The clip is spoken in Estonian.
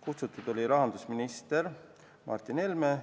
Kutsutud oli rahandusminister Martin Helme,